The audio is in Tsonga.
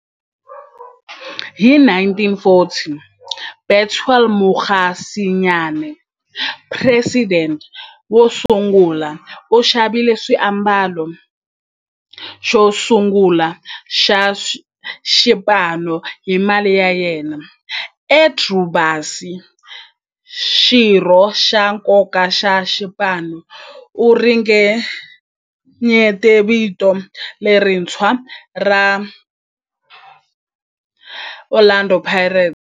Hi 1940, Bethuel Mokgosinyane, president wosungula, u xavile xiambalo xosungula xa xipano hi mali ya yena. Andrew Bassie, xirho xa nkoka xa xipano, u ringanyete vito lerintshwa ra 'Orlando Pirates'.